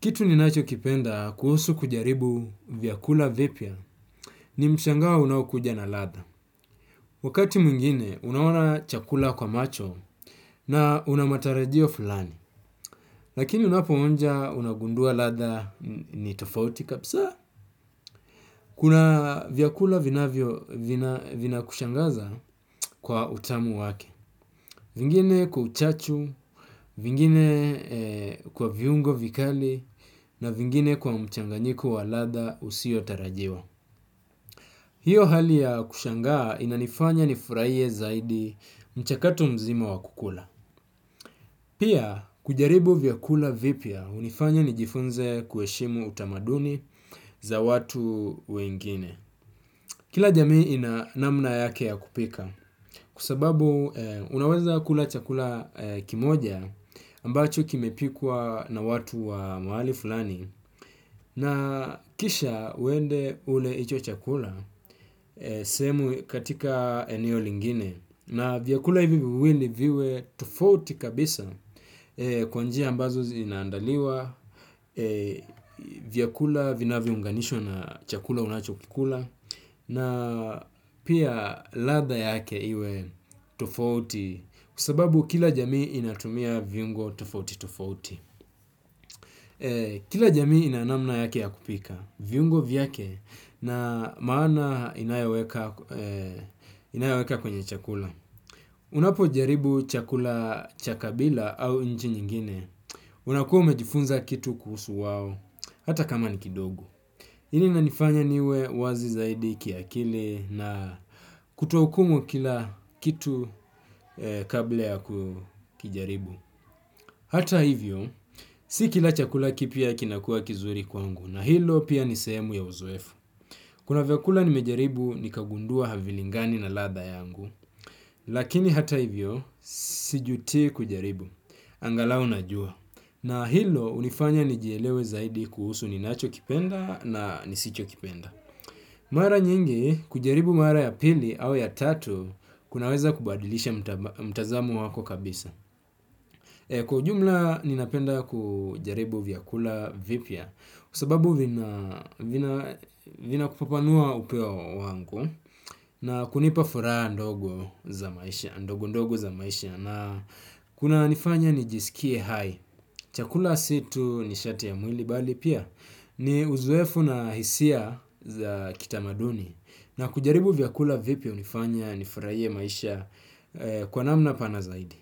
Kitu ni nacho kipenda kuhusu kujaribu vyakula vipya ni mshangao unaokuja na ladha. Wakati mwingine, unaona chakula kwa macho na una matarajio fulani. Lakini unapo onja unagundua ladha ni tofauti kabisa. Kuna vyakula vinavyo vina kushangaza kwa utamu wake. Vingine kwa uchachu, vingine kwa viungo vikali na vingine kwa mchanganyiko wa ladha usio tarajiwa. Hiyo hali ya kushangaa inanifanya nifurahie zaidi mchakato mzima wa kukula. Pia kujaribu vyakula vipya hunifanya ni jifunze kuheshimu utamaduni za watu wengine. Kila jamii ina namna yake ya kupika kwa sababu unaweza kula chakula kimoja ambacho kimepikwa na watu wa mahali fulani na kisha uende ule hicho chakula sehemu katika eneo lingine. Na vyakula hivi viwili viwe tufouti kabisa kwa njia ambazo zinaandaliwa, vyakula vinavyo unganishwa na chakula unacho kula na pia ladha yake iwe tufouti kwasababu kila jamii inatumia viungo tofauti tofauti. Kila jami inanamna yake ya kupika viungo vyake na maana inayoweka kwenye chakula. Unapo jaribu chakula cha kabila au nchi nyingine, unakuwa umejifunza kitu kuhusu wao hata kama ni kidogo. Hii inanifanya niwe wazi zaidi kiakili na kuto hukumu kila kitu kabla ya kujaribu. Hata hivyo, si kila chakula kipya kinakua kizuri kwangu na hilo pia ni sehemu ya uzoefu. Kuna vyakula nimejaribu nikagundua havilingani na ladha yangu, lakini hata hivyo sijutii kujaribu, angalu najua. Na hilo hunifanya nijielewe zaidi kuhusu ninacho kipenda na nisicho kipenda. Mara nyingi kujaribu mara ya pili au ya tatu kunaweza kubadilisha mtazamo wako kabisa. Kwa ujumla ninapenda kujaribu vyakula vipya kwa sababu vina vina panua upeo wangu na kunipa furaha ndogo ndogo za maisha na kuna nifanya nijisikie hai. Chakula situ nishati ya mwili bali pia ni uzoefu na hisia za kitamaduni na kujaribu vyakula vipya hunifanya nifurahie maisha kwa namna pana zaidi.